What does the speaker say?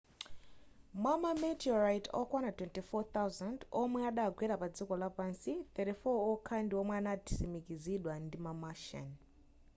mwa ma meteorite okwana 24,000 omwe adagwera pa dziko lapansi 34 okha ndi omwe adatsimikizidwa ndi ma martian